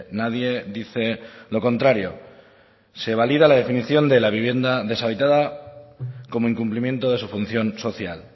nadie dice lo contrario se valida la definición de la vivienda deshabitada como incumplimiento de su función social